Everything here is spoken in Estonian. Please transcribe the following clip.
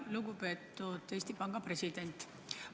Lugupeetud Eesti Panga president!